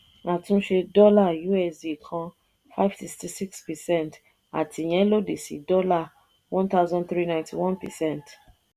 àtúnse dollar usd kan five sixty six percent àti ìyẹ́n lòdì sí dollar one thousand three ninety one percent.